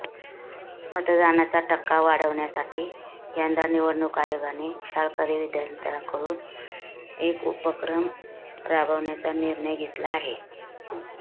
मतदानाचा टक्का वाढवण्यासाठी यंदा निवडणुक आयोगाने शाळकरी विद्यार्थांकडून एक उपक्रम राबवण्याचा निर्णय घेतला आहे